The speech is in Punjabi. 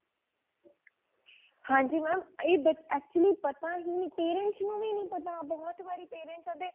ਹਾਂਜੀ mam ਇਹ ਬ actually ਪਤਾ ਹੀ ਨਹੀਂ parents ਨੂੰ ਵੀ ਨਹੀਂ ਪਤਾ ਬਹੁਤ ਵਰੀ parents ਆਵਦੇ